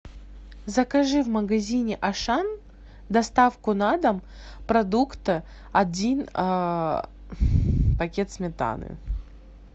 закажи в магазине ашан доставку на дом продукта один пакет сметаны